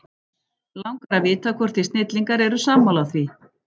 Langar að vita hvort þið snillingar eru sammála því?